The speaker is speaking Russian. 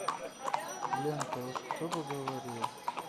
лента уж кто бы говорил